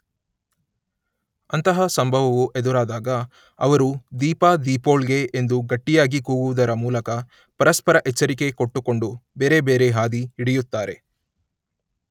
ಅಂತಹ ಸಂಭವವು ಎದುರಾದಾಗ ಅವರು ‘ದೀಪ ದೀಪೋಳ್ಗೆ ‘ ಎಂದು ಗಟ್ಟಿಯಾಗಿ ಕೂಗುವುದರ ಮೂಲಕ ಪರಸ್ಪರ ಎಚ್ಚರಿಕೆ ಕೊಟ್ಟುಕೊಂಡು ಬೇರೆ ಬೇರೆ ಹಾದಿ ಹಿಡಿಯುತ್ತಾರೆ